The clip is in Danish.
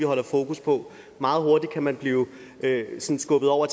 holder fokus på meget hurtigt kan man blive skubbet over